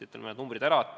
Ütlen need numbrid ka ära.